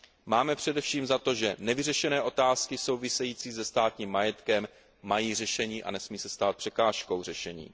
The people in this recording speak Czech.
Máme především za to, že nevyřešené otázky související se státním majetkem mají řešení a nesmí se stát překážkou řešení.